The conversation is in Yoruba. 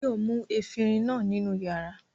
Báyọ̀ mú efirin náà nínú ìyàrá.